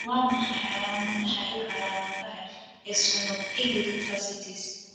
Waa maxay calaamadaha iyo calaamadaha Eosinophilic fasciitis?